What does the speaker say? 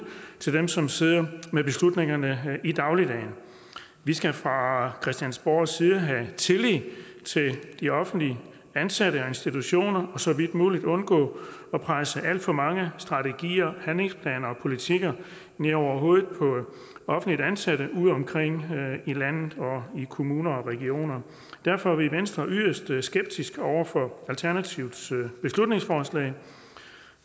til dem som sidder med beslutningerne i dagligdagen vi skal fra christiansborgs side have tillid til de offentligt ansatte og institutioner og så vidt muligt undgå at presse alt for mange strategier handlingsplaner politikker ned over hovedet på offentligt ansatte udeomkring i landet og i kommuner og regioner derfor er vi i venstre yderst skeptiske over for alternativets beslutningsforslag